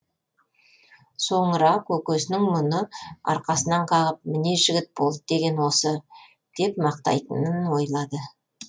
соңыра көкесінің мұны арқасынан қағып міне жігіт болды деген осы деп мақтайтынын ойлады